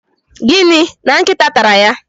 Gịnị! na nkịta tara ya?